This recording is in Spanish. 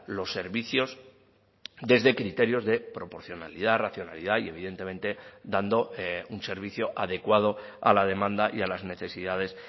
los servicios desde criterios de proporcionalidad racionalidad y evidentemente dando un servicio adecuado a la demanda y a las necesidades